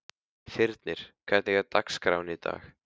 Þyrnir, hvernig er dagskráin í dag?